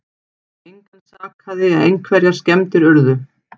Engan sakaði en einhverjar skemmdir urðu